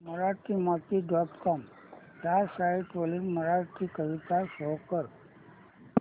Marathimati dot com ह्या site वरील मराठी कविता शो कर